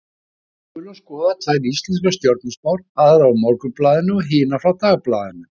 Við skulum skoða tvær íslenskar stjörnuspár, aðra úr Morgunblaðinu og hina frá Dagblaðinu.